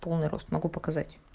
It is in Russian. полный рост могу показать